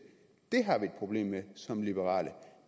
problem med som liberale